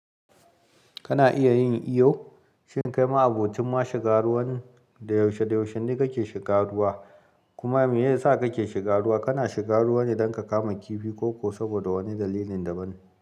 Kana iya yin iyo, shin kai ma abokin ma shiga ruwan da yaushe da yaushe ne kake shiga ruwa? Kuma me ya sa kake shiga ruwa? Kana shiga ruwa ne don ka kama kifi ko saboda wani dalilin daban.